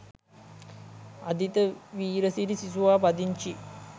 අදිත වීරසිරි සිසුවා පදිංචි